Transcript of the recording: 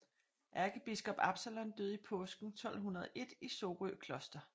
Ærkebiskop Absalon døde i påsken 1201 i Sorø Kloster